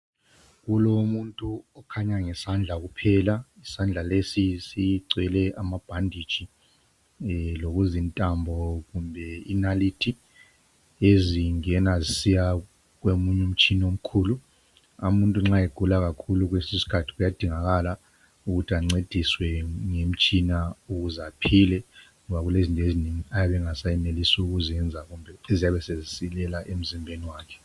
Kulomuntu okhanya ngesandla kuphela isandla leso sigwele amabhanditshi lokuzintambo kumbe inalithi ezingena zisiya komunye umtshina omkhulu, umuntu ma egula kakhulu kuyadingakala ukuthi ancediswe ngomtshina ukuze aphile ngoba kulezinto ezinengi ayabe engasa yenelisi ukuthi aziyenze ngombe eziyabe sezisilela emzimbeni wakhe